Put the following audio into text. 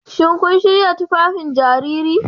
Shin kun shirya tufafin jariri?